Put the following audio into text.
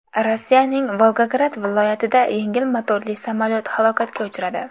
Rossiyaning Volgograd viloyatida yengil motorli samolyot halokatga uchradi.